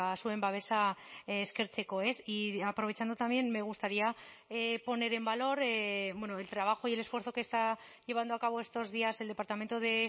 zuen babesa eskertzeko y aprovechando también me gustaría poner en valor el trabajo y el esfuerzo que está llevando a cabo estos días el departamento de